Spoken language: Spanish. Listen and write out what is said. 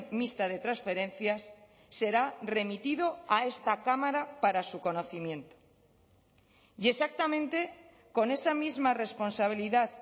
mixta de transferencias será remitido a esta cámara para su conocimiento y exactamente con esa misma responsabilidad